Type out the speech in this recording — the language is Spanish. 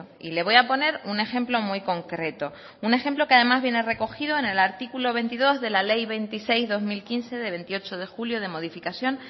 y le voy a poner un ejemplo muy concreto un ejemplo que además viene recogido en el artículo veintidós de la ley veintiséis barra dos mil quince de veintiocho de julio de modificación